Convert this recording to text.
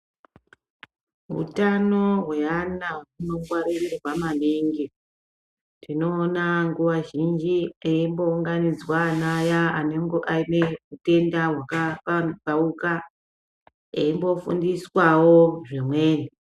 Utano hweana hunongwaririrwa maningi. Tinoona nguwa zhinji eimbounganidzwa ana aya anenge ane utenda hwakapambauka eimbofundiswawo zvimweni.